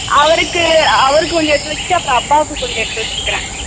அவருக்கு அவருக்கு கொஞ்சம் எடுத்து வெச்சிட்டு அப்பாக்கு கொஞ்சம் எடுத்து வேச்சுரிக்கே